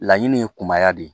Laɲini ye kunbaya de ye